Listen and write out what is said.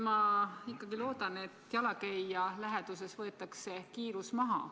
Ma ikkagi loodan, et jalakäija läheduses võetakse kiirus maha.